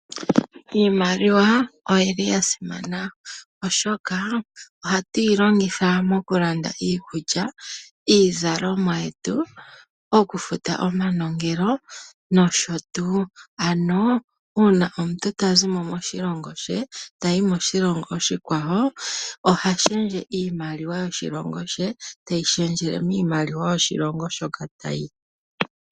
Iimaliwa oyili yasimana molwaashoka ohatu yi longitha okulanda oompumbwe dhayoolokathana ngaashi iikulya , iizalomwa, okufuta omanongelo noshotuu. Uuna omuntu tayi koshilongo shimwe, oha pingakanitha iimaliwa yoshilongo shaandjawo niimaliwa yoshilongo shoka uuka.